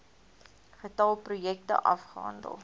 getal projekte afgehandel